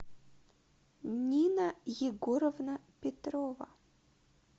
нина егоровна петрова